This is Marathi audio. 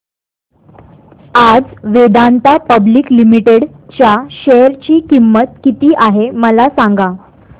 आज वेदांता पब्लिक लिमिटेड च्या शेअर ची किंमत किती आहे मला सांगा